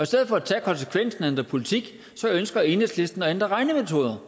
stedet for at tage konsekvensen og ændre politik ønsker enhedslisten at ændre regnemetoder